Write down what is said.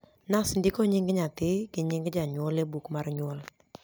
nas ndiko nying nyathi go nying janyuol e buk mar nyuol